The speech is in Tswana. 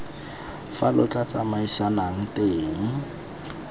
fa lo tla tsamaisanang teng